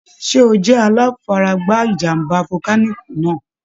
Ṣẹ́ ó jẹ́ aláfaragbá ìjàm̀bá volcanic náà?